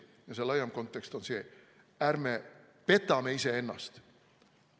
Ja see laiem kontekst on see: ärme petame iseennast.